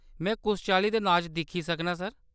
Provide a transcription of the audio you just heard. में कुस चाल्ली दे नाच दिक्खी सकनां, सर ?